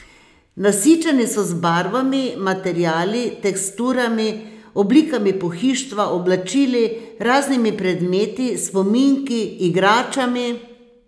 Nasičeni so z barvami, materiali, teksturami, oblikami pohištva, oblačili, raznimi predmeti, spominki, igračami ...